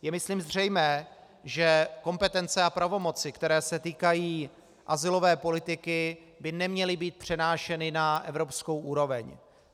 Je myslím zřejmé, že kompetence a pravomoci, které se týkají azylové politiky, by neměly být přenášeny na evropskou úroveň.